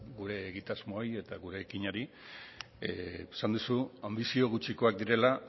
gure egitasmoei eta gure ekinari esan duzu anbizio gutxikoak direla